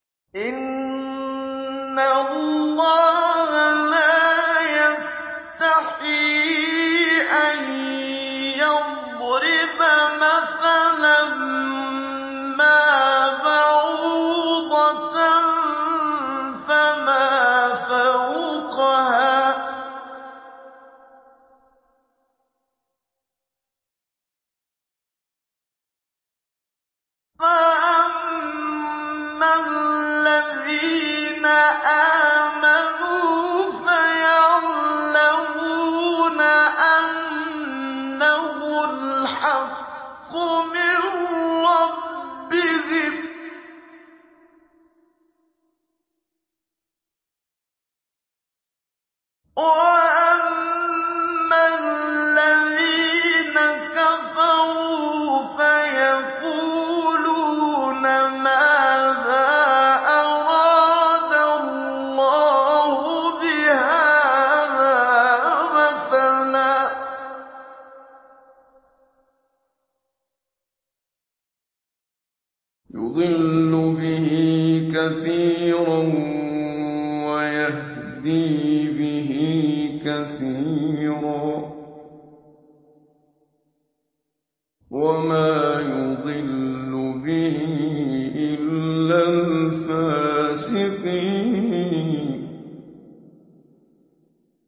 ۞ إِنَّ اللَّهَ لَا يَسْتَحْيِي أَن يَضْرِبَ مَثَلًا مَّا بَعُوضَةً فَمَا فَوْقَهَا ۚ فَأَمَّا الَّذِينَ آمَنُوا فَيَعْلَمُونَ أَنَّهُ الْحَقُّ مِن رَّبِّهِمْ ۖ وَأَمَّا الَّذِينَ كَفَرُوا فَيَقُولُونَ مَاذَا أَرَادَ اللَّهُ بِهَٰذَا مَثَلًا ۘ يُضِلُّ بِهِ كَثِيرًا وَيَهْدِي بِهِ كَثِيرًا ۚ وَمَا يُضِلُّ بِهِ إِلَّا الْفَاسِقِينَ